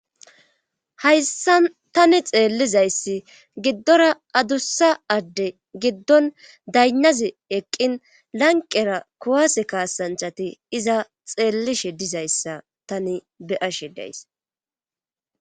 Hayssa tani xeellizayssi giddora adussa adde giddon daynnazi eqqin lanqera kuwase kaasanchati iza xeellishe dizayssa tani beyashe days.